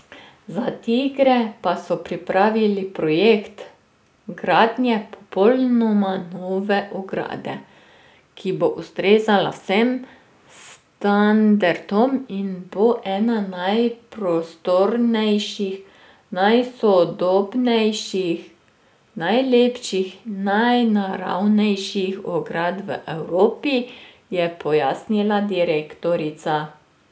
Za tigre pa so pripravili projekt gradnje popolnoma nove ograde, ki bo ustrezala vsem standardom in bo ena najprostornejših, najsodobnejših, najlepših in najnaravnejših ograd v Evropi, je pojasnila direktorica.